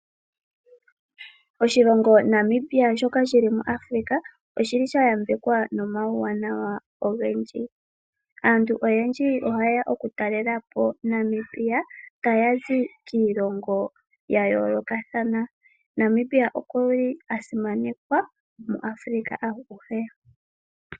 Oshilongo Namibia shoka shi muAfrika oshayambekwa nomauwanawa ogendji. Aantu oyendji ohaya talele po Namibia taya zi kiilongo yayoolokathana. Namibia okwasimanekwa muAfrika aguhe.